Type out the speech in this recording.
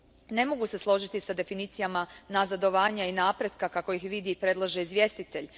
Ne mogu se složiti s definicijama nazadovanja i napretka kako ih vidi i predlaže izvjestitelj.